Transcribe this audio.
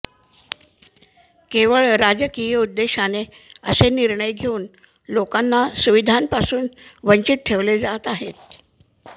केवळ राजकीय उद्देशाने असे निर्णय घेऊन लोकांना सुविधांपासून वंचित ठेवले जात आहे